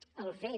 el fet